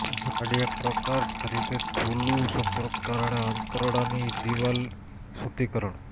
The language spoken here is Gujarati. ઝાડી એક પ્રકાર તરીકે થૂલું સંપર્કમાં કારણે આંતરડાની દિવાલ શુદ્ધિકરણ